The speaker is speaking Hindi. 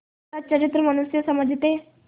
सच्चरित्र मनुष्य समझते